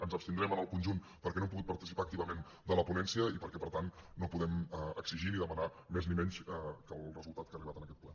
ens abstindrem en el conjunt perquè no hem pogut participar activament en la ponència i perquè per tant no podem exigir ni demanar més ni menys que el resultat que ha arribat en aquest ple